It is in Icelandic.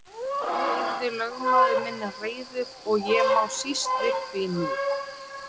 Þá yrði lögmaður minn reiður og ég má síst við því nú.